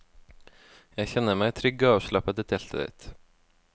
Jeg kjenner meg trygg og avslappet i teltet ditt.